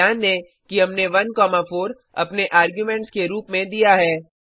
ध्यान दें कि हमने 14 अपने आर्गुमेंट्स के रूप में दिया है